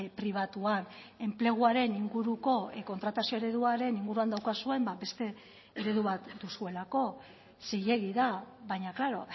pribatuan enpleguaren inguruko kontratazio ereduaren inguruan daukazuen beste eredu bat duzuelako zilegi da baina klaro